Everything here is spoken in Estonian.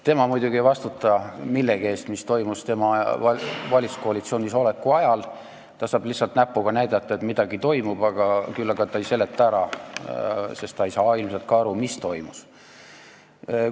Tema muidugi ei vastuta millegi eest, mis on toimunud tema valitsuskoalitsioonis oleku ajal, ta saab lihtsalt näpuga näidata, et midagi toimus, küll aga ei seleta ta midagi ära, sest ta ei saa ilmselt ka aru, mis toimus.